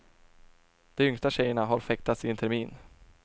De yngsta tjejerna har fäktats i en termin.